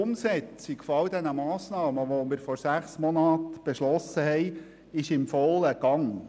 Die Umsetzung all dieser Massnahmen, die wir vor sechs Monaten beschlossen haben, ist in vollem Gange.